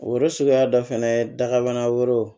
Oro suguya dɔ fɛnɛ ye dagabana wɛrɛw